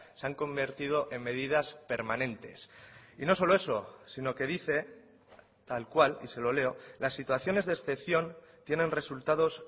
se han convertido en medidas permanentes y no solo eso sino que dice tal cual y se lo leo las situaciones de excepción tienen resultados